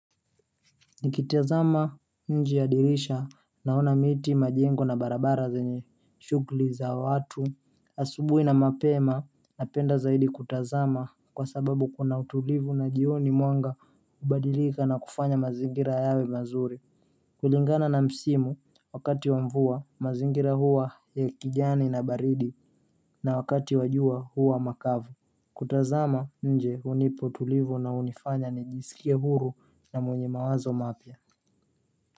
Nikitazama nje ya dirisha naona miti majengo na barabara zenye shughuli za watu asubuhi na mapema napenda zaidi kutazama kwa sababu kuna utulivu na jioni mwanga hubadilika na kufanya mazingira yawe mazuri kulingana na msimu wakati wa mvua mazingira huwa ya kijani na baridi na wakati wa jua huwa makavu kutazama nje hunipa utulivu na hunifanya nijisikie huru na mwenye mawazo mapya.